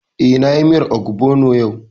Eh, na yi miyar ogbono yau